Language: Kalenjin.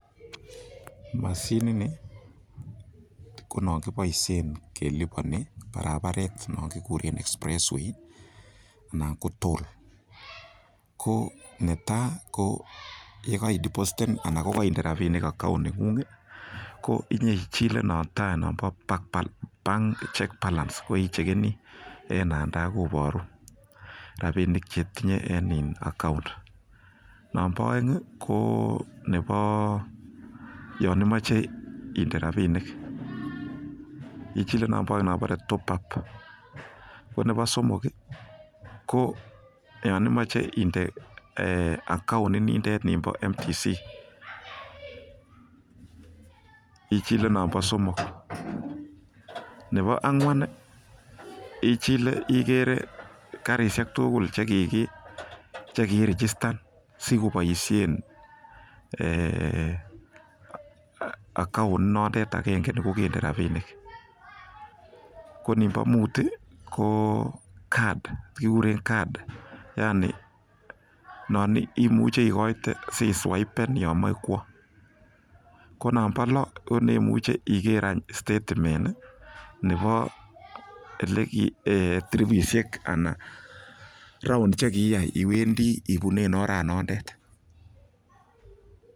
Moshinit ni ko non kiboishen keliponen barabaret non kiguren express way anan ko toll ko netai ko yekoi depositen anan ko koinde rabinik account neng'ung ko inyeichile non tai nombo bank balance ko ichekeni en nan tai koboru rabinik che itinye en account . Nonbo oeng ko nebo yon imoche inde rabinik ichile non bo oeng nombore top up . Ko nebo somok ko yon imoche inde account inindet ninbo MTC ichile nonbo somok. Nebo ang'wan, ichile, igere karishek tugul che kiirijistan sikoboishen account inotet agenge ni kogende rabinik kor ninbo mut ko card kigure card yani non imuche igoite si swaiben yon moe kwo, ko non bo lo konemuche iger any statement nebo tiribisiek ana round che kiiyai iwendi ibunen oranondet.